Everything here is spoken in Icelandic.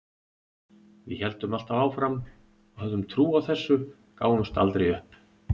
Við héldum alltaf áfram og höfðum trú á þessu, gáfumst aldrei upp.